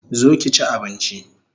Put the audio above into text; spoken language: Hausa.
Zo ki chi abinchi